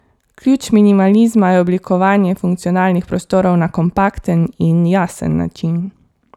Ključ minimalizma je oblikovanje funkcionalnih prostorov na kompakten in jasen način.